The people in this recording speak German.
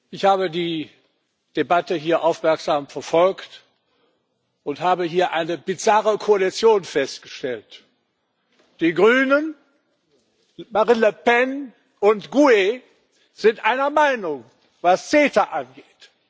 Ich habe die Debatte hier aufmerksam verfolgt und habe hier eine bizarre Koalition festgestellt Die Grünen, Marine Le Pen und GUE sind einer Meinung, was CETA angeht.